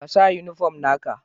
Ka sa uniform na ka!